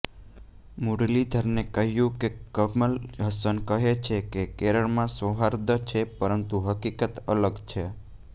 મુરલીધરને કહ્યું કે કમલ હસન કહે છે કે કેરળમાં સૌહાર્દ છે પરંતુ હકીકત અલગ છે